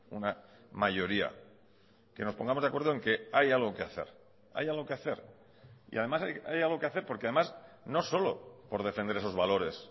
una mayoría que nos pongamos de acuerdo en que hay algo que hacer hay algo que hacer y además hay algo que hacer porque además no solo por defender esos valores